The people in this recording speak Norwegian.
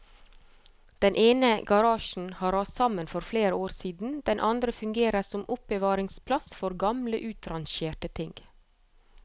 Den ene garasjen har rast sammen for flere år siden, den andre fungerer som oppbevaringsplass for gamle utrangerte ting.